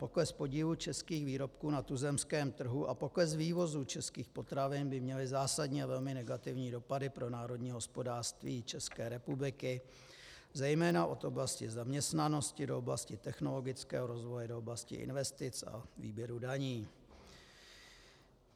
Pokles podílu českých výrobků na tuzemském trhu a pokles vývozu českých potravin by měly zásadně velmi negativní dopady pro národní hospodářství České republiky, zejména od oblasti zaměstnanosti do oblasti technologického rozvoje, do oblasti investic a výběru daní.